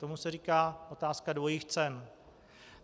Tomu se říká otázka dvojích cen.